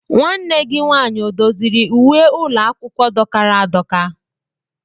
Nwanne gị nwaanyị ọ doziri uwe ụlọ akwụkwọ dọkara adọka?